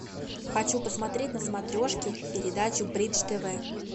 хочу посмотреть на смотрешке передачу бридж тв